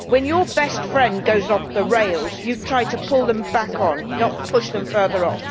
When your best friend goes off the rails you try to pull them back on, not push them further off.